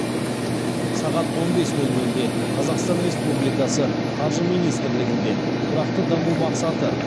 сағат он бес нөл нөлде қазақстан республикасы қаржы министрлігінде тұрақты даму мақсаты